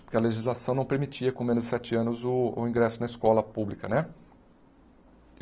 Porque a legislação não permitia, com menos de sete anos, o o ingresso na escola pública, né?